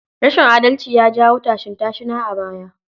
Rashin adalci ya jawo tashin-tashina a baya.